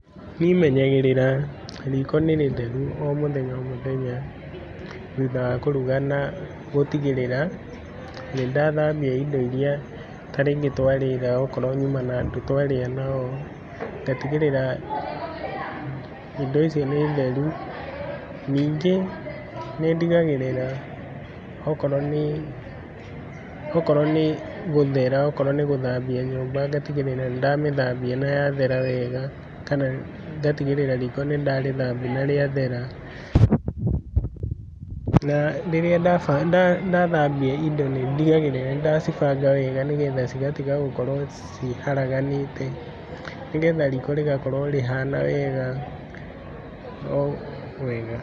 Niĩ menyagĩrĩra riko nĩ rĩtheru o mũthenya o mũthenya thutha wa kuruga, na gutigĩrĩra nĩ ndathambia indo iria ta rĩngĩ twarĩra okorwo nyuma na andu twarĩa nao, ngatigĩrĩra indo icio ni theru. Ningĩ nĩndigagĩrĩra, okorwo nĩ gũthera, okorwo nĩ gũthambia nyumba, ngatigĩrĩra nĩ ndamĩthambia na yathera wega, kana ngatigĩrĩra riko nĩ ndarĩthambia na rĩathera, na rĩrĩa ndathambia indo nĩndigagĩra nĩ ndacibanga wega, nĩgetha cigatiga gũkorwo ciharaganĩte, nĩgetha riko rigakorwo rihana wega, o wega.